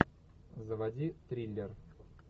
заводи триллер